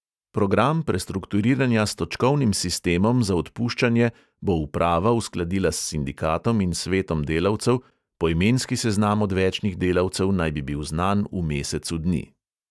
Program prestrukturiranja s točkovnim sistemom za odpuščanje bo uprava uskladila s sindikatom in svetom delavcev; poimenski seznam odvečnih delavcev naj bi bil znan v mesecu dni.